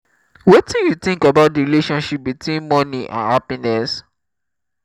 wetin you think about di relationship between money and happiness?